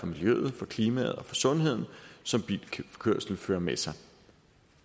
miljøet for klimaet og for sundheden som bilkørsel fører med sig